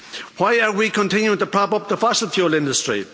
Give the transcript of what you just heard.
Why are we continuing to prop up the fossil fuel industry?